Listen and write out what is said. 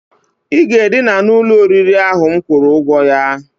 I ga-edina n'ụlọ oriri ahụ m kwụrụ ụgwọ ya!